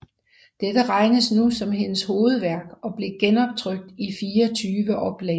Dette regnes nu som hendes hovedværk og blev genoptrykt i 24 oplag